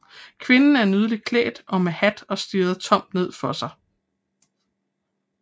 Kvinden er nydeligt klædt og med hat og stirrer tomt ned for sig